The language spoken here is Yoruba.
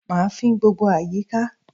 Mà á fín gbogbo àyíká